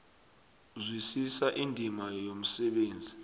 zwisisa indima yomsebenzi